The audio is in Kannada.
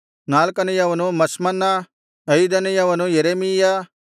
ನಾಲ್ಕನೆಯವನು ಮಷ್ಮನ್ನ ಐದನೆಯವನು ಯೆರೆಮೀಯ